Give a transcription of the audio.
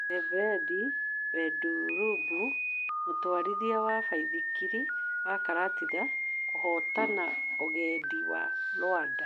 Yebeni Bedũrũbũ mûtwarithia wa baithikiri wa Karatina kũhotana ũgendi wa Rwanda.